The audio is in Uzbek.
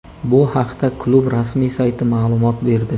Bu haqda klub rasmiy sayti ma’lumot berdi.